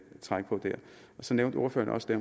trække på der så nævnte ordføreren også